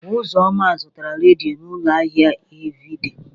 Ụzọnna zụtara redio n'ụlọ ahịa Eveidee.